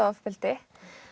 ofbeldi